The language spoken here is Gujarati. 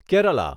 કેરાલા